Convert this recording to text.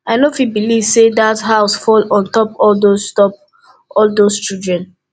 i no fit believe say dat house fall on top all those top all those children